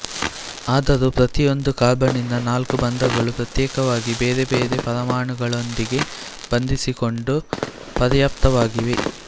ಆದರೂ ಪ್ರತಿಯೊಂದು ಕಾರ್ಬನ್ನಿನ ನಾಲ್ಕೂ ಬಂಧಗಳು ಪ್ರತ್ಯೇಕವಾಗಿ ಬೇರೆ ಬೇರೆ ಪರಮಾಣುಗಳೊಂದಿಗೆ ಬಂಧಿಸಿಕೊಂಡು ಪರ್ಯಾಪ್ತವಾಗಿವೆ